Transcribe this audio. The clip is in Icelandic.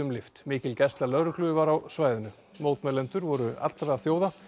lyft mikil gæsla lögreglu var á svæðinu mótmælendur voru allra þjóða